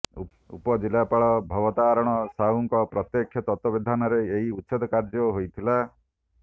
ଉପଜିଲ୍ଲାପାଳ ଭବତାରଣ ସାହୁଙ୍କ ପ୍ରତ୍ୟେକ୍ଷ ତତ୍ତ୍ୱାବଧାନରେ ଏହି ଉଚ୍ଛେଦ କାର୍ଯ୍ୟ ହୋଇଥିଲା